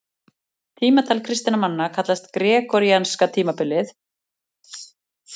tímatal kristinna manna kallast gregoríanska tímatalið og er notað í flestum vesturlöndum